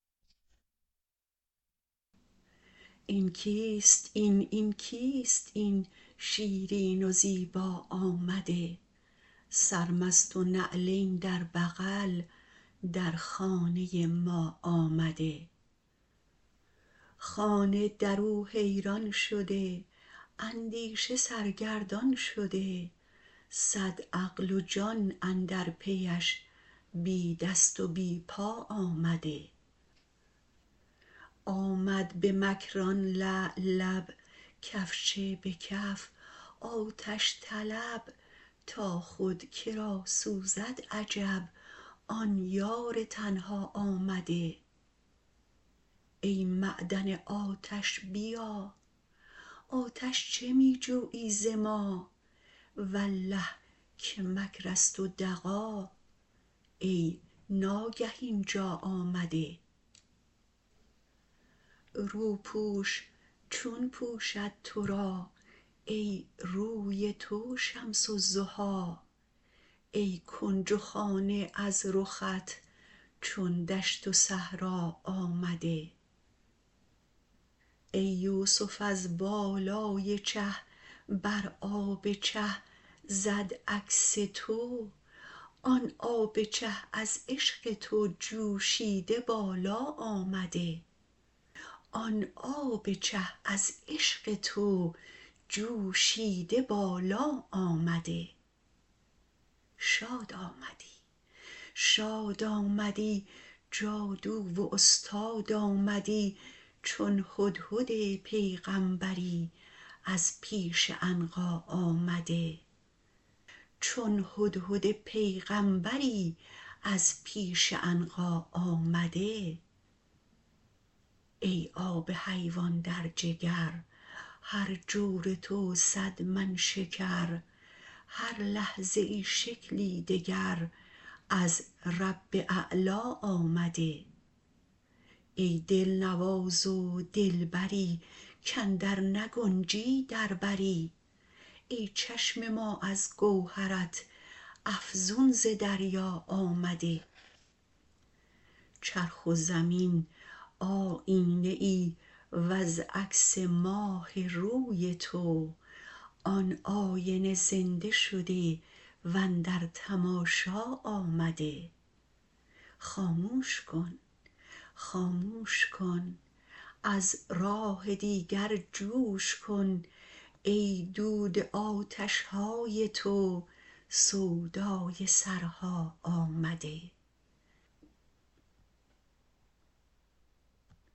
این کیست این این کیست این شیرین و زیبا آمده سرمست و نعلین در بغل در خانه ما آمده خانه در او حیران شده اندیشه سرگردان شده صد عقل و جان اندر پیش بی دست و بی پا آمده آمد به مکر آن لعل لب کفچه به کف آتش طلب تا خود که را سوزد عجب آن یار تنها آمده ای معدن آتش بیا آتش چه می جویی ز ما والله که مکر است و دغا ای ناگه این جا آمده روپوش چون پوشد تو را ای روی تو شمس الضحی ای کنج و خانه از رخت چون دشت و صحرا آمده ای یوسف از بالای چه بر آب چه زد عکس تو آن آب چه از عشق تو جوشیده بالا آمده شاد آمدی شاد آمدی جادو و استاد آمدی چون هدهد پیغامبری از پیش عنقا آمده ای آب حیوان در جگر هر جور تو صد من شکر هر لحظه ای شکلی دگر از رب اعلا آمده ای دلنواز و دلبری کاندر نگنجی در بری ای چشم ما از گوهرت افزون ز دریا آمده چرخ و زمین آیینه ای وز عکس ماه روی تو آن آینه زنده شده و اندر تماشا آمده خاموش کن خاموش کن از راه دیگر جوش کن ای دود آتش های تو سودای سرها آمده